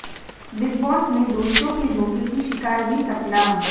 big Boss में दोस्तों के धोखे की शिकार हुई सपना